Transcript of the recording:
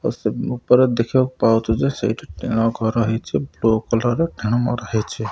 ଉପର ଦେଖିବାକୁ ପାଉଛୁ। ଯେ ସେଇଟି ଟିଣ ଘର ହେଉଚି ବ୍ଲୁ କଲର୍ ର ଟିଣ ମରା ହେଇଛି।